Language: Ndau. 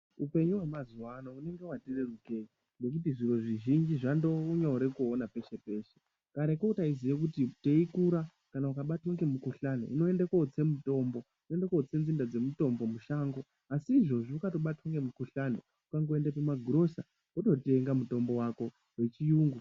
Upenyu wemazuvano unenge wati rerukei ngekuti zviro zvizhinji zvakumgowanikwa pese pese kare ko taitoti ukarwa ngemudumbu waitienda kunotsa mutombo mushango asi ikezvino unotoenda pazviroto kunotenga wechiyungu